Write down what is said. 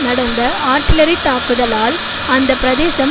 நடந்த ஆட்டிலறித் தாக்குதலால் அந்த பிரதேசம்